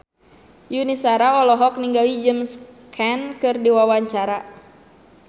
Yuni Shara olohok ningali James Caan keur diwawancara